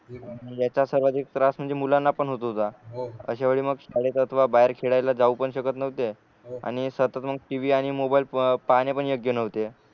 याचा सर्वाधिक त्रास म्हणजे मुलांना पण होत होता अश्यावेळी मग बाहेर खेळायला जाऊ पण शकत नव्हते आणि सतत मग टीवी आणि मोबाईल पाहणे पण योग्य नव्हते